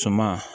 Suma